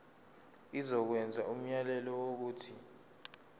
izokwenza umyalelo wokuthi